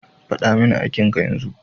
Faɗa mini aikin ka yanzu!